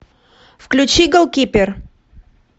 включи голкипер